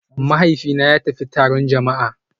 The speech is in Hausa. Mahaifina ya tafi taron jama'a